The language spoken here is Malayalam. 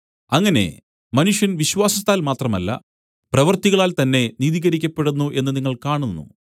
അങ്ങനെ മനുഷ്യൻ വിശ്വാസത്താൽ മാത്രമല്ല പ്രവൃത്തികളാൽ തന്നെ നീതീകരിക്കപ്പെടുന്നു എന്ന് നിങ്ങൾ കാണുന്നു